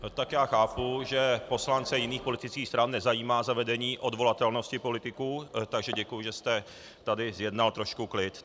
Tak já chápu, že poslance jiných politických stran nezajímá zavedení odvolatelnosti politiků, takže děkuji, že jste tady zjednal trošku klid.